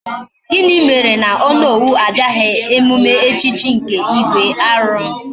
Gini mere na Onowu abiaghi emume echichi nke igwe? Aru!